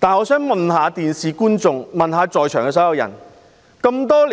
我想問觀眾及在場所有人士，回歸20多